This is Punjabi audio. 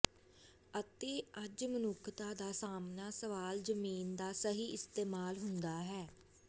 ਅਤੇ ਅੱਜ ਮਨੁੱਖਤਾ ਦਾ ਸਾਹਮਣਾ ਸਵਾਲ ਜ਼ਮੀਨ ਦਾ ਸਹੀ ਇਸਤੇਮਾਲ ਹੁੰਦਾ ਹੈ